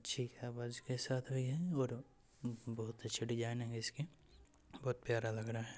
ठीक है के साथ हुई है और अ बहुत अच्छी डिजाइन है इसकी और बहुत प्यारा लग रहा है।